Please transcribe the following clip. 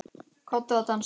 Komdu að dansa